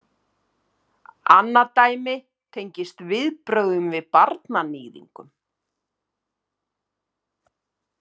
Annað dæmi tengist viðbrögðum við barnaníðingum.